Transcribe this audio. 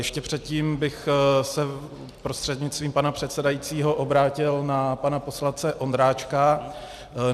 Ještě předtím bych se prostřednictvím pana předsedajícího obrátil na pana poslance Ondráčka.